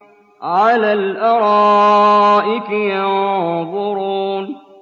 عَلَى الْأَرَائِكِ يَنظُرُونَ